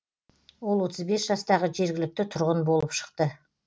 ол отыз бес жастағы жергілікті тұрғын болып шықты